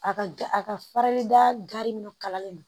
A ka a ka farali dari min kalalen no